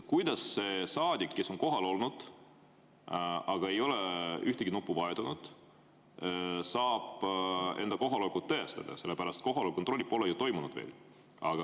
Kuidas see saadik, kes on kohal olnud, aga ei ole ühtegi nuppu vajutanud, saab enda kohalolekut tõestada, kui kohaloleku kontrolli pole veel toimunud?